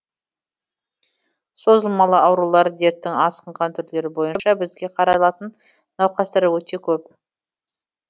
созылмалы аурулар дерттің асқынған түрлері бойынша бізге қаралатын науқастар өте көп